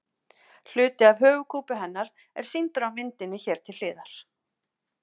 Hluti af höfuðkúpu hennar er sýndur á myndinni hér til hliðar.